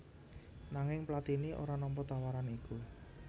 Nanging Platini ora nampa tawaran iku